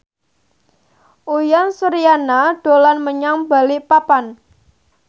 Uyan Suryana dolan menyang Balikpapan